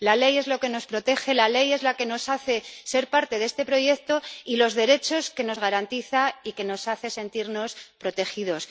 La ley es lo que nos protege. La ley es la que nos hace ser parte de este proyecto y nos garantiza los derechos que nos hacen sentirnos protegidos.